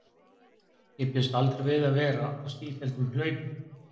Ég bjóst aldrei við að þurfa að vera á sífelldum hlaupum.